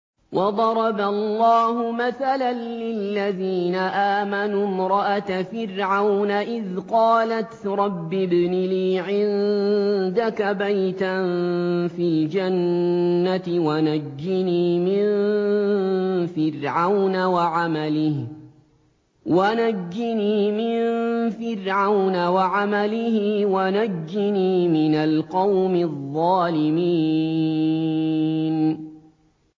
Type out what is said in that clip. وَضَرَبَ اللَّهُ مَثَلًا لِّلَّذِينَ آمَنُوا امْرَأَتَ فِرْعَوْنَ إِذْ قَالَتْ رَبِّ ابْنِ لِي عِندَكَ بَيْتًا فِي الْجَنَّةِ وَنَجِّنِي مِن فِرْعَوْنَ وَعَمَلِهِ وَنَجِّنِي مِنَ الْقَوْمِ الظَّالِمِينَ